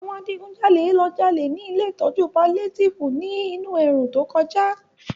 Àwọn adigunjalè ló jalè ní Ilé ìtọ́jú palétíìfù ní inú ẹ̀rùn tó kọjá